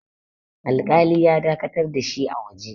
alƙali ya dakatar da shi a waje